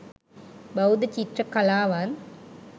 බෞද්ධ චිත්‍ර කලාවත්